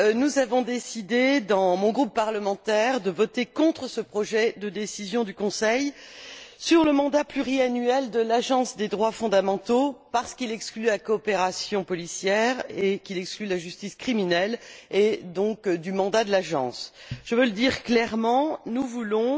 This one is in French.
Nous avons décidé, au sein de mon groupe parlementaire, de voter contre ce projet de décision du Conseil sur le mandat pluriannuel de l'Agence des droits fondamentaux parce qu'il exclut la coopération policière et la justice criminelle du mandat de l'Agence. Je veux dire clairement que nous voulons